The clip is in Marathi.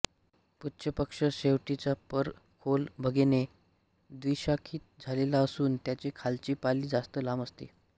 पुच्छपक्ष शेपटीचा पर खोल भेगेने द्विशाखित झालेला असून त्याची खालची पाली जास्त लांब असते